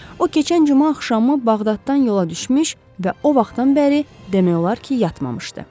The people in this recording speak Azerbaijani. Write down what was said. O keçən cümə axşamı Bağdaddan yola düşmüş və o vaxtdan bəri demək olar ki, yatmamışdı.